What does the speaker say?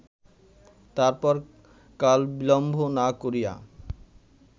তারপর কালবিলম্ব না করিয়া